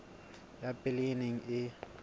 ya pele e neng e